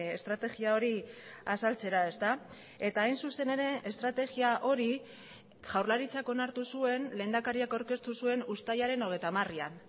estrategia hori azaltzera ezta eta hain zuzen ere estrategia hori jaurlaritzak onartu zuen lehendakariak aurkeztu zuen uztailaren hogeita hamarean